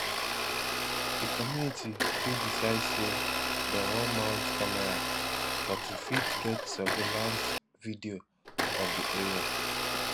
di community fit decide sey dem wan mount camera for to fit get survaillance video of di area